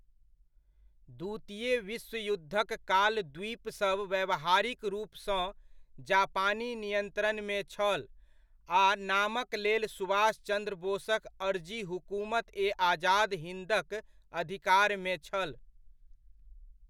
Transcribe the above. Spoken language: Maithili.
द्वितीय विश्व युद्धक काल द्वीपसब व्यावहारिक रूपसँ जापानी नियंत्रणमे छल आ नामक लेल सुभाष चंद्र बोसक अर्जी हुकुमत ए आजाद हिंदक अधिकारमे छल।